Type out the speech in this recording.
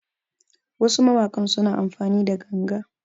Wasu mawakan suna amfani da ganga